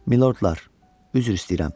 Milordlar, üzr istəyirəm.